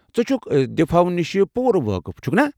ژٕ چُھكھ دفاع ہو نِش پوٗرٕ وٲقف چھُكھنا ؟